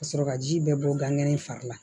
Ka sɔrɔ ka ji bɛɛ bɔ gan ŋɛnɛ fari la